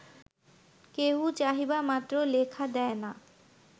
কেউ চাহিবা মাত্র লেখা দেয় না